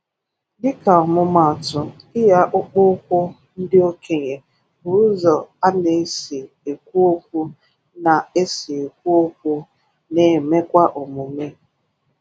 Dịka ọmụmaatụ, iyi akpụkpọụkwụ ndị okenye bụ ụzọ a na-esi ekwu okwu na-esi ekwu okwu na-emekwa omume.